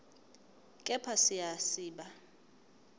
kepha siya siba